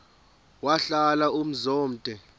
wahlala umzum omde